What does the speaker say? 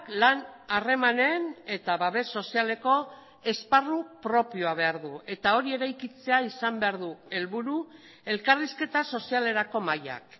lan harremanen eta babes sozialeko esparru propioa behar du eta hori eraikitzea izan behar du helburu elkarrizketa sozialerako mahaiak